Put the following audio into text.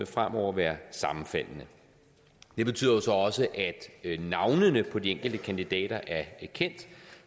fremover være sammenfaldende det betyder jo så også at navnene på de enkelte kandidater er kendt